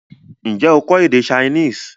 N jẹ́ o kọ́ èdè Chinese?